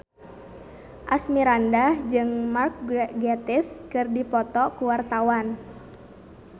Asmirandah jeung Mark Gatiss keur dipoto ku wartawan